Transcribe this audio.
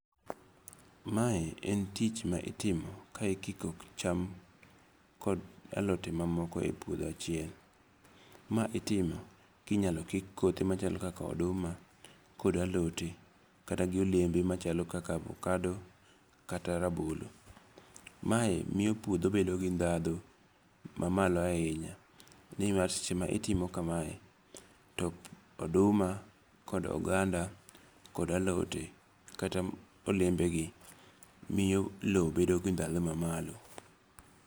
Mae en tich ma itimo ka ikiko cham kod alote mamoko e puodho achiel. Ma itimo kinyalo kik kothe machalo kaka oduma kod alote kata gi olembe machalo kaka avacado kata rabolo. Mae miyo puodho bedo gi dhadho mamalo ahinya. Nimar seche ma itimo kamae to oduma, kod oganda kod alote kata olembe gi miyo lo bedo gi dhadho mamalo.